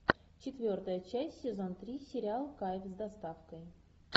четвертая часть сезон три сериал кайф с доставкой